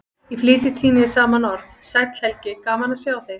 Í flýti tíni ég saman orð: Sæll Helgi, gaman að sjá þig